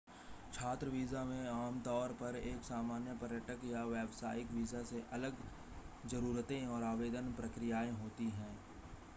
छात्र वीज़ा में आमतौर पर एक सामान्य पर्यटक या व्यावसायिक वीज़ा से अलग ज़रूरतें और आवेदन प्रक्रियाएं होती हैं